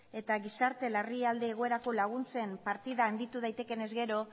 eta gizarte larrialdi egoerako laguntzen partida handitu daitekeenez gero